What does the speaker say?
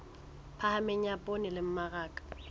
phahameng ya poone le mmaraka